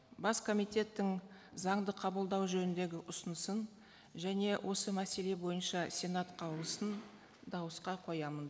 бас комитеттің заңды қабылдау жөніндегі ұсынысын және осы мәселе бойынша сенат қаулысын дауысқа қоямын